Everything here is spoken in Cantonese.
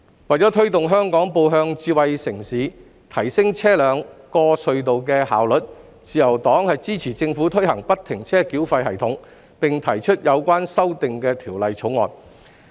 為推動香港步向智慧城市，提升車輛過隧道的效率，自由黨支持政府推行不停車繳費系統，並提出《條例草案》以作有關修訂。